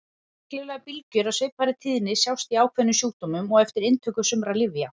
Reglulegar bylgjur af svipaðri tíðni sjást í ákveðnum sjúkdómum og eftir inntöku sumra lyfja.